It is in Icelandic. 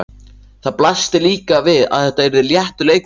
Það blasti líka við að þetta yrði léttur leikur.